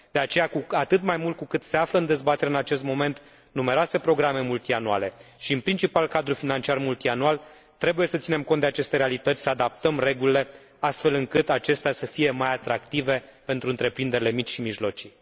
De aceea, cu atât mai mult cu cât se află în dezbatere în acest moment numeroase programe multianuale și, în principal, cadrul financiar multianual, trebuie să ținem cont de aceste realități, să adaptăm regulile, astfel încât acestea să fie mai atractive pentru întreprinderile mici și mijlocii.